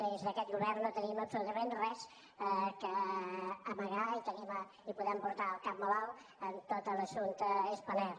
des d’aquest govern no tenim absolutament res a amagar i podem portar el cap molt alt en tot l’assumpte spanair